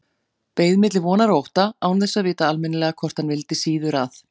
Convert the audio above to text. Beið milli vonar og ótta, án þess að vita almennilega hvort hann vildi síður að